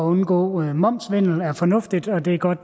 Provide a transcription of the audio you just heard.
undgå momssvindel er fornuftigt og det er godt at